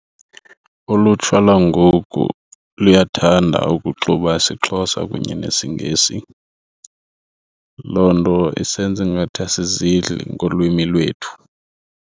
Ulutsha lwangoku luyathanda ukuxuba isiXhosa kunye nesiNgesi. Loo nto isenza ingathi asizidli ngolwimi lwethu.